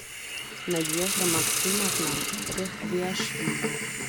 надежда максимовна рехвиашвили